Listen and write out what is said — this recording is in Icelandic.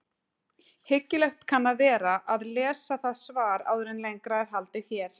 Hyggilegt kann að vera að lesa það svar áður en lengra er haldið hér.